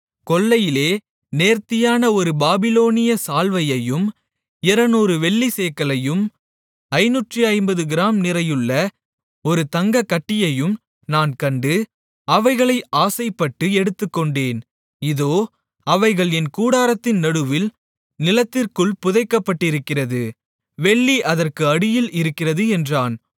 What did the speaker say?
கொள்ளையிலே நேர்த்தியான ஒரு பாபிலோனிய சால்வையையும் 200 வெள்ளிச் சேக்கலையும் 550 கிராம் நிறையுள்ள ஒரு தங்கக் கட்டியையும் நான் கண்டு அவைகளை ஆசைப்பட்டு எடுத்துக்கொண்டேன் இதோ அவைகள் என் கூடாரத்தின் நடுவில் நிலத்திற்குள் புதைக்கப்பட்டிருக்கிறது வெள்ளி அதற்கு அடியில் இருக்கிறது என்றான்